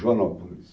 Joanópolis.